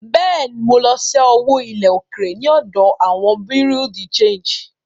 Bẹ́ẹ̀ ni, mo lọ ṣẹ́ owó ilẹ̀ òkèèrè ní ọ̀dọ̀ àwọn Bureau de Change.